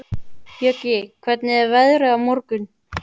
Bjöggi, hvernig er veðrið á morgun?